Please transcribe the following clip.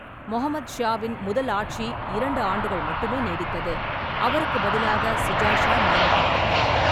முகமது ஷாவின் முதல் ஆட்சி இரண்டு ஆண்டுகள் மட்டுமே நீடித்தது, அவருக்குப் பதிலாக சுஜா ஷா நியமிக்கப்பட்டார்.